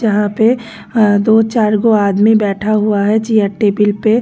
जहां पे दो चार गो आदमी बैठा हुआ है चेयर टेबल पे।